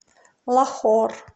лахор